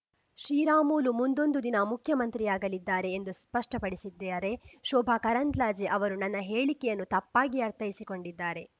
ಶ್ರೀರಾಮುಲು ಮುಂದೊಂದು ದಿನ ಮುಖ್ಯಮಂತ್ರಿಯಾಗಲಿದ್ದಾರೆ ಎಂದು ಸ್ಪಷ್ಟಪಡಿಸಿದ್ದೇಆರೆ ಶೋಭಾ ಕರಂದ್ಲಾಜೆ ಅವರು ನನ್ನ ಹೇಳಿಕೆಯನ್ನು ತಪ್ಪಾಗಿ ಅರ್ಥೈಸಿಕೊಂಡಿದ್ದಾರೆ